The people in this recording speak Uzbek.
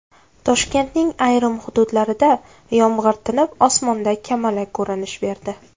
Toshkentning ayrim hududlarida yomg‘ir tinib, osmonda kamalak ko‘rinish berdi.